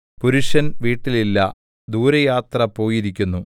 പുരുഷൻ വീട്ടിൽ ഇല്ല ദൂരയാത്ര പോയിരിക്കുന്നു